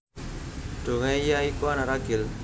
Donghae ya iku anak ragil